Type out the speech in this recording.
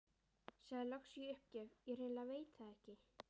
Sagði loks í uppgjöf: Ég hreinlega veit það ekki